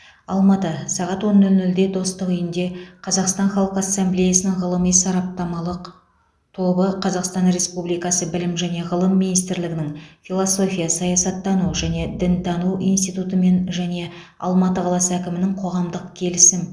алматы сағат он нөл нөлде достық үйінде қазақстан халқы ассамблеясының ғылыми сараптамалық тобы қазақстан республикасы білім және ғылым министрлігінің философия саясаттану және дінтану институтымен және алматы қаласы әкімінің коғамдық келісім